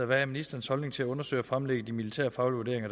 hvad er ministerens holdning til at undersøge og fremlægge de militærfaglige